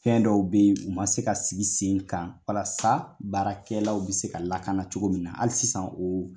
Fɛn dɔw be yen ,u ma se ka sigi sen kan walasa baarakɛlaw be se ka lakana cogo min na hali sisan o